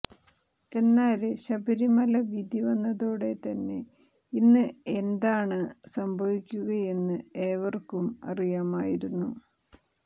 എന്നാല് ശബരിമല വിധി വന്നതോടെ തന്നെ ഇന്ന് എന്താണ് സംഭവിക്കുകയെന്ന് ഏവര്ക്കും അറിയാമായിരുന്നു